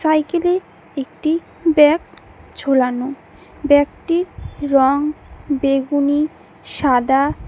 Cycle -এ একটি bag ঝোলানো ব্যাগ -টির রং বেগুনি সাদা।